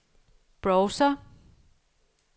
browser